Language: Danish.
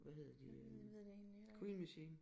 Jeg ved det egentlig heller ikke